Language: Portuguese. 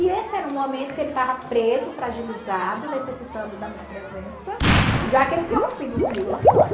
E esse era um momento que ele estava preso, fragilizado, necessitando da minha presença, já que ele tinha rompido comigo lá fora.